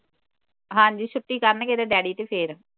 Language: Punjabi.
ਹਾਂਜੀ ਛੁੱਟੀ ਕਰਨ ਗੇ ਇਹਦੇ ਡੈਡੀ ਤੇ ਫਿਰ